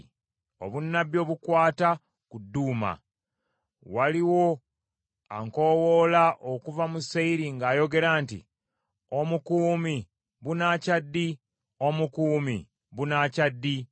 Obunnabbi obukwata ku Duuma: Waliwo ankowoola okuva mu Seyiri ng’ayogera nti, “Omukuumi, bunaakya ddi? Omukuumi, bunaakya ddi?”